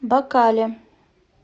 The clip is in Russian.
бакале